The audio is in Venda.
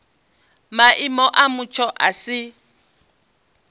maimo a mutsho a si